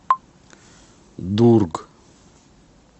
дург